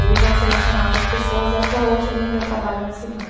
Ele já selecionava as pessoas e até hoje ele ainda trabalha nesse ramo.